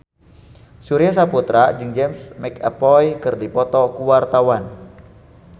Surya Saputra jeung James McAvoy keur dipoto ku wartawan